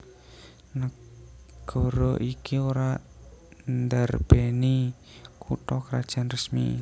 Nagara iki ora ndarbèni kutha krajan resmi